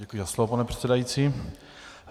Děkuji za slovo, pane předsedající.